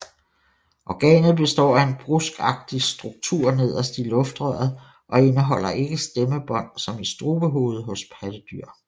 Organet består af en bruskagtig struktur nederst i luftrøret og indeholder ikke stemmebånd som i strubehovedet hos pattedyr